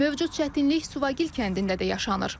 Mövcud çətinlik Suvagil kəndində də yaşanır.